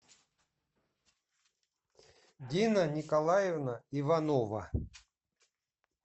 дина николаевна иванова